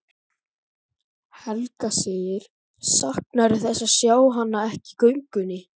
Helga: Saknarðu þess að sjá hana ekki í göngunni?